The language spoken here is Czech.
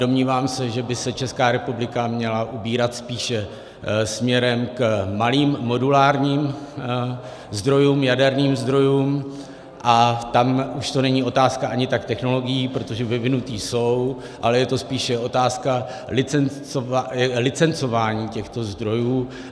Domnívám se, že by se Česká republika měla ubírat spíše směrem k malým modulárním zdrojům, jaderným zdrojům, a tam už to není otázka ani tak technologií, protože vyvinuté jsou, ale je to spíše otázka licencování těchto zdrojů.